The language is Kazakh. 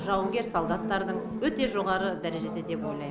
жауынгер солдаттардың өте жоғары дәрежеде деп ойлайм